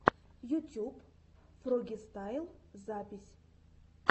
ютюб фрогистайл запись